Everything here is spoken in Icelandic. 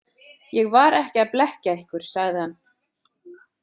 Ég var ekki að blekkja ykkur, sagði hann.